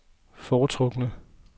foretrukne